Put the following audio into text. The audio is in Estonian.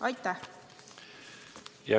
Aitäh!